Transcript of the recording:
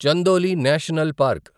Chandoli national park